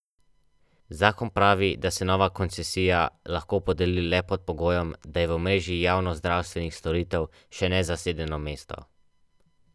To je povedala blago, milo.